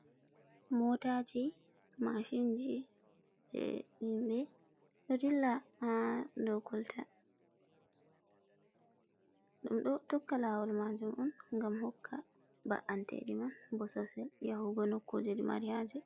Motaji, mashinji, himɓe ɗo dilla ha dou kolta. Ɗum ɗo tokka lawol majum on ngam hokka ba’anteɗi man bososel yahugo nokkuje mari haaje.